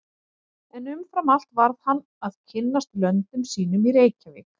En umfram allt varð hann að kynnast löndum sínum í Reykjavík.